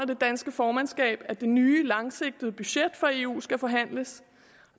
det danske formandskab at det nye langsigtede budget for eu skal forhandles